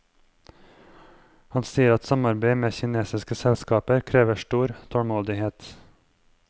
Han sier at samarbeid med kinesiske selskaper krever stor tålmodighet.